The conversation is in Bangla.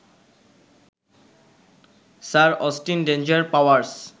sir Austin Danger powers